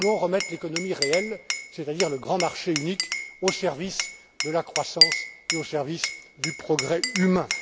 Et nous voulons remettre l'économie réelle, c'est à dire le grand marché unique, au service de la croissance et au service du progrès humain.